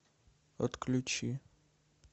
отключи